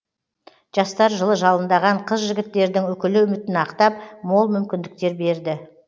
жастар жылы жалындаған қыз жігіттердің үкілі үмітін ақтап мол мүмкіндіктер берді